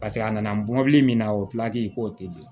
Paseke a nana mɔbili min na o pilaki k'o tɛ di